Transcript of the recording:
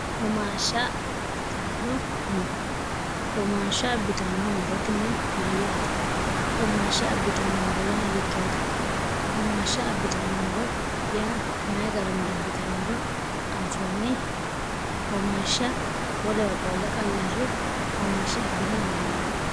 umshshbourohumaashsha abbitanno murotini mayyaate umaashsha abbitanno moro yaa hiittoote umaashsha abbitanno moro yaa mayi garinni abbitannoro anfoonni humaashsha wolewa qqoolle qayarre humaashsha abbina dandiinanni